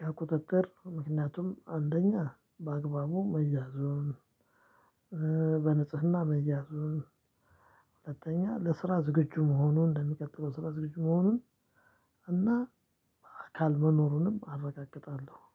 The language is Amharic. የቁጥጥር ምክንያቱም አንደኛ በአግባቡ መያዙን በንጽህና መያዙን። ሁለተኛ ለስራ ዝግጁ መሆኑን እንደሚቀጥለው ስራ ዝግጁ መሆኑን። እና አካል መኖሩንም አረጋግጣለው